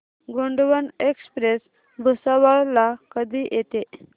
Gondwana express Bhusawal ला कधी येते